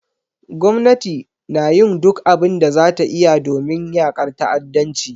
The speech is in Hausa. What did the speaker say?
Gwamnati na yin duk abin da za ta iya domin yakar ta'addanci.